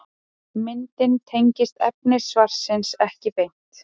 Myndin tengist efni svarsins ekki beint.